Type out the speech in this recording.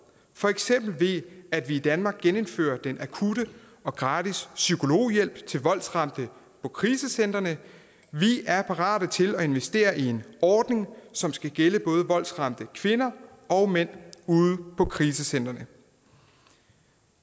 for eksempel ved at vi i danmark genindfører den akutte og gratis psykologhjælp til voldsramte på krisecentrene vi er parat til at investere i en ordning som skal gælde både voldsramte kvinder og mænd ude på krisecentrene